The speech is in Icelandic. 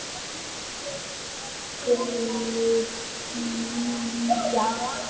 Bólivía